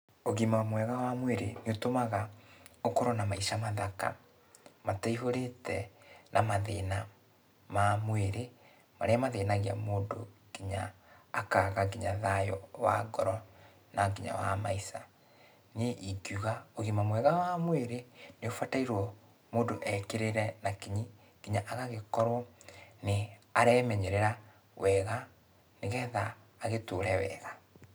Ũgima mwega wa mwĩrĩ nĩũtũmaga, ũkorwo na maica mathaka, mataihũrĩte na mathĩna ma mwĩrĩ, marĩa mathĩnagia mũndũ kinya akaga kinya thayũ wa ngoro na kinya wa maica. Niĩ ingiuga, ũgima mwega wa mwĩrĩ nĩaũbatairwo mũndũ ekĩrĩre na kinyi, kinya agagĩkorwo nĩaremenyerera wega, nĩgetha agĩtũre wega.